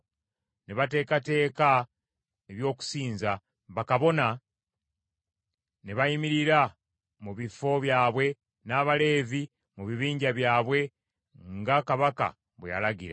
Ne bateekateeka eby’okusinza, bakabona ne bayimirira mu bifo byabwe n’Abaleevi mu bibinja byabwe nga kabaka bwe yalagira.